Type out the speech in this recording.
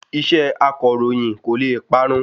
Iṣẹ́ akọ̀ròyìn kò le parun